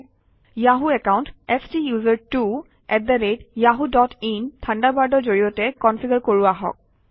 Yahoo account STUSERTWOyahoo dot in থাণ্ডাৰবাৰ্ডৰ জৰিয়তে configure কৰোঁ আহক